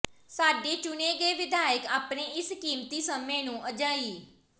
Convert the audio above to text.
ਸਾਡੇ ਚੁਣੇ ਗਏ ਵਿਧਾਇਕ ਆਪਣੇ ਇਸ ਕੀਮਤੀ ਸਮੇਂ ਨੂੰ ਅਜਾਈਂ